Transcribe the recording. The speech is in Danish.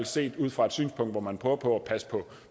set fra et synspunkt hvor man prøver på at passe